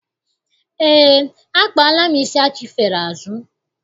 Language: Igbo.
Eé, akpaala m isi achifere azụ.